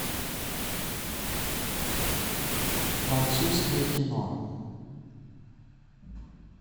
французское кино